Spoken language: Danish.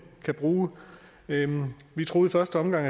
kan bruge vi troede i første omgang